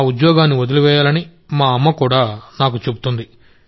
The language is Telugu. ఆ ఉద్యోగాన్ని వదిలివేయాలని మా అమ్మ కూడా నాకు చెబుతుంది